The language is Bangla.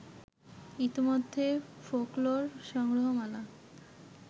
ইতোমধ্যে ফোকলোর সংগ্রহমালা